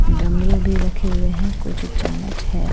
डमरू भी रखे हुए हैं कुछ चम्मच है।